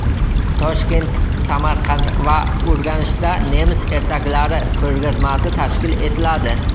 Toshkent, Samarqand va Urganchda nemis ertaklari ko‘rgazmasi tashkil etiladi.